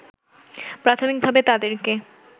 প্রাথমিকভাবে তাদেরকে